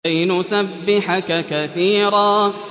كَيْ نُسَبِّحَكَ كَثِيرًا